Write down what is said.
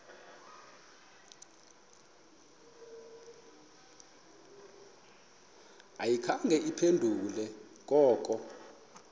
ayikhange iphendule koko